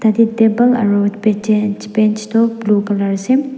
yate table aru toh blue colour ase.